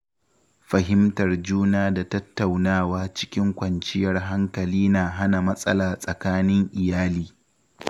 Fahimtar juna da tattaunawa cikin kwanciyar hankali na hana matsala tsakanin iyali.